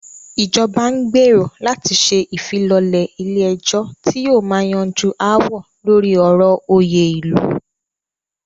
Ìjọba n gbérò láti ṣe ìfilọ́lẹ̀ ilé ẹ̀jọ́ tí yóò máà yanjú aáwọ̀ lórí ọ̀rọ̀ òyè ilu.